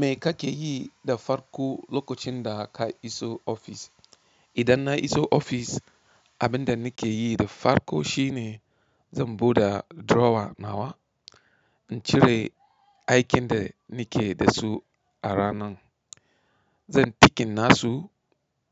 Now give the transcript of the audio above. Me kake yi da farko lokocin da ka iso ofis? Idan na iso ofis, abin da nake yi da farko shine zan buda drawer nawa in cire aikin da nake da su a ranan. Zan ticking nasu